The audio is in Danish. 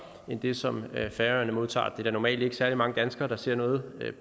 end det som færøerne modtager er der normalt ikke særlig mange danskere der ser noget